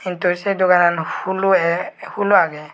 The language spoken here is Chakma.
hintu sey doganan hulo e hulo agey.